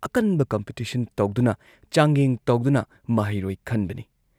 ꯑꯀꯟꯕ ꯀꯝꯄꯤꯇꯤꯁꯟ ꯇꯧꯗꯨꯅ, ꯆꯥꯡꯌꯦꯡ ꯇꯧꯗꯨꯅ ꯃꯍꯩꯔꯣꯏ ꯈꯟꯕꯅꯤ ꯫